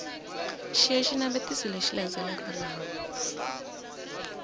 xiya xinavetiso lexi landzelaka laha